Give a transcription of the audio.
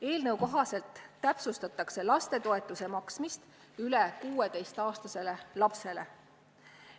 Eelnõu kohaselt täpsustatakse lapsetoetuse maksmist üle 16-aastasele lapsele.